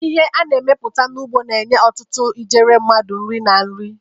Ihe a na-emepụta n'ugbo na-enye ọtụtụ ijeri mmadụ nri na nri.